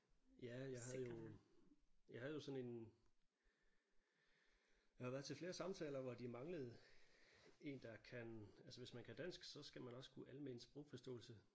Ja jeg havde jo jeg havde jo sådan en jeg har været til flere samtaler hvor de manglede en der kan altså hvis man kan dansk så skal man også kunne almen sprogforståelse